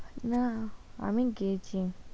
আরে না আমি গেছি